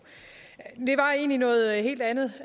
det var egentlig noget helt andet